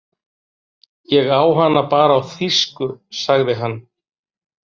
Ég á hana bara á þýsku, sagði hann.